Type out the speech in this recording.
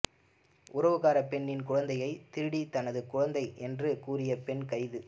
உறவுக்கார பெண்ணின் குழந்தையை திருடி தனது குழந்தை என்று கூறிய பெண் கைது